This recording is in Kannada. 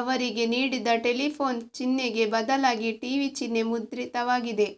ಅವರಿಗೆ ನೀಡಿದ್ದ ಟೆಲಿಫೋನ್ ಚಿಹ್ನೆಗೆ ಬದಲಾಗಿ ಟಿವಿ ಚಿಹ್ನೆ ಮುದ್ರಿತವಾಗಿದೆ